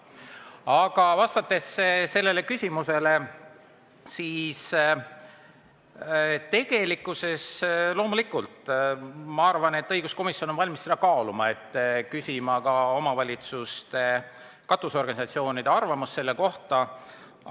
Aga kui vastata sellele küsimusele, siis loomulikult ma arvan, et õiguskomisjon on valmis seda kaaluma, et küsida ka omavalitsuste katusorganisatsioonide arvamust selle kohta.